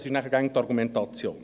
Das ist dann die Argumentation.